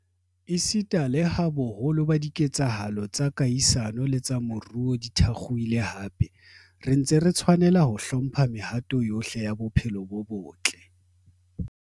Esita leha boholo ba dike tsahalo tsa kahisano le tsa moruo di thakgohile hape, re ntse re tshwanela ho hlo mpha mehato yohle ya bophelo bo botle.